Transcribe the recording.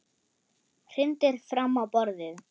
Hrindir fram á borðið.